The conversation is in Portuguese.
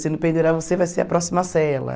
Se não pendurar você vai ser a próxima cela.